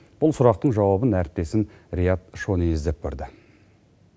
бұл сұрақтың жауабын әріптесім риат шони іздеп көрді